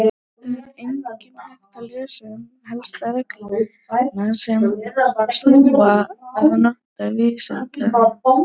Þar er einnig hægt að lesa um helstu reglur sem snúa að notkun viðskeytanna.